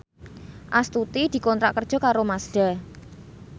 Astuti dikontrak kerja karo Mazda